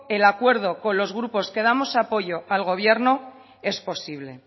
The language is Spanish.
el acuerdo con los grupos que damos apoyo al gobierno es posible